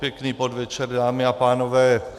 Pěkný podvečer, dámy a pánové.